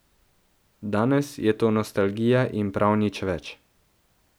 Danes je to nostalgija in prav nič več.